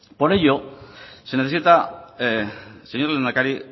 por ello se necesita señor lehendakari